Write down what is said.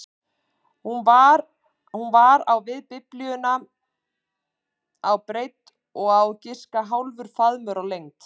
Hún var á við Biblíuna á breidd og á að giska hálfur faðmur á lengd.